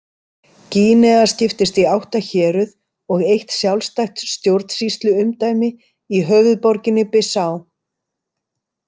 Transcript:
Gínea skiptist í átta héruð og eitt sjálfstætt stjórnsýsluumdæmi í höfuðborginni, Bissá.